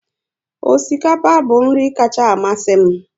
Osikapa bụ nri kacha amasị m